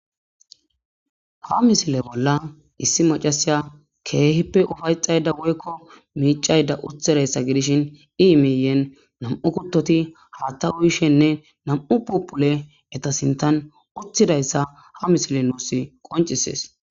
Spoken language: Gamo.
ha misile bolla issi macasiya keehippe ufayxayda woykko miicayda uthidayssa gidishin iimiiyen nam7u kuttoti haatawuyishenne nam7u pupule eta sintan uthidayssa ha misile nuusi qoncisees